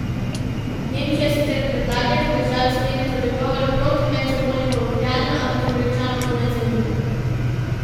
Nemčija sicer predlaga, da državi skleneta dogovor proti medsebojnemu vohljanju, ampak Američanov to ne zanima.